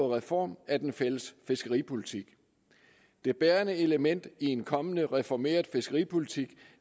reform af den fælles fiskeripolitik det bærende element i en kommende reformeret fiskeripolitik